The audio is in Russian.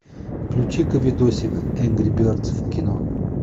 включи ка видосик энгри бердс в кино